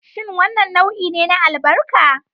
Shin wannan nau'i ne na albarka?